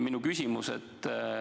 Minu küsimus.